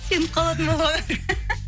сеніп қалатын болды ғой